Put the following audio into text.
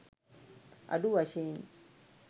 අඩු වශයෙන්